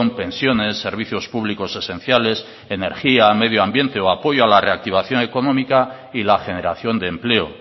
pensiones servicios públicos esenciales energía medio ambiente o apoyo a la reactivación económica y la generación de empleo